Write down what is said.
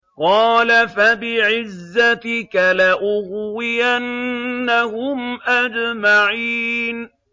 قَالَ فَبِعِزَّتِكَ لَأُغْوِيَنَّهُمْ أَجْمَعِينَ